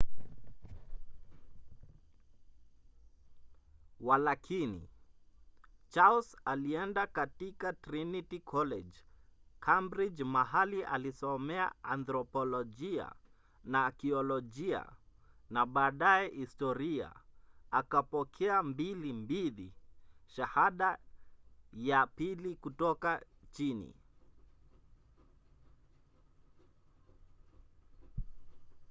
walakini charles alienda katika trinity college cambridge mahali alisomea anthropolojia na akiolojia na baadaye historia akapokea 2:2 shahada ya pili kutoka chini